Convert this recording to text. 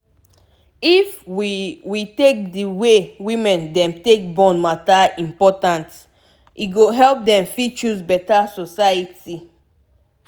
if we we take d way women dem take born matter important e go help dem fit choose beta society